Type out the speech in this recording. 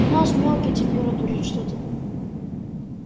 у нас мелкий температурит что-то